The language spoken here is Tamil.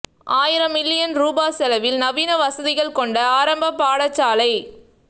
ஆயிரம் மில்லியன் ரூபா செலவில் நவீன வசதிகள் கொண்ட ஆரம்பப் பாடசாலை